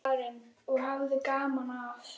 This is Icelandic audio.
Karen: Og hafði gaman af?